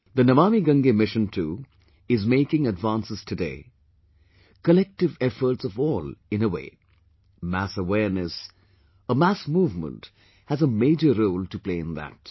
The Namami Gange Mission too is making advances today...collective efforts of all, in a way, mass awareness; a mass movement has a major role to play in that